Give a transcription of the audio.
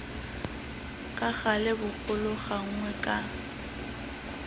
ka gale bogolo gangwe ka